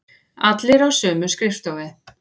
Allir á sömu skrifstofu.